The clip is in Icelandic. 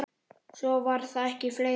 Svo var það ekki fleira.